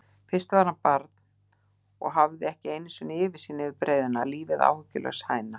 Fyrst var hann barn og hafði ekki einusinni yfirsýn yfir breiðuna, lífið áhyggjulaus hæna.